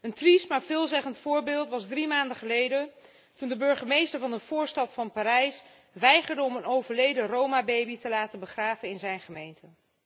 Een triest, maar veelzeggend voorbeeld deed zich drie maanden geleden voor, toen de burgemeester van een voorstad van Parijs weigerde om een overleden Roma baby te laten begraven in zijn gemeente.